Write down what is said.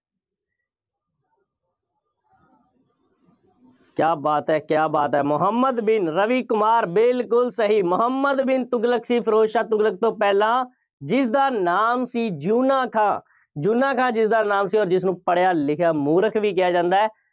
ਕਿਆ ਬਾਤ ਹੈ, ਕਿਆ ਬਾਤ ਹੈ, ਮੁਹੰਮਦ ਬਿਨ ਰਵੀ ਕੁਮਾਰ ਬਿਲਕੁੱਲ ਸਹੀ, ਮੁਹੰਮਦ ਬਿਨ ਤੁਗਲਕ ਸੀ, ਫਿਰੋਜ਼ ਸ਼ਾਹ ਤੁਗਲਕ ਤੋਂ ਪਹਿਲਾਂ, ਜਿਸਦਾ ਨਾਮ ਸੀ, ਯੂਨਾ ਖਾਂ। ਯੂਨਾ ਖਾਂ, ਜਿਸਦਾ ਨਾਮ ਸੀ, ਜਿਸਨੂੰ ਪੜ੍ਹਿਆ ਲਿਖਿਆ ਮੂਰਖ ਵੀ ਕਿਹਾ ਜਾਂਦਾ ਹੈ।